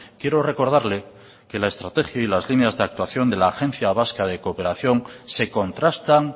quiero recordarle que la estrategia y las líneas de actuación de la agencia vasca de cooperación se contrastan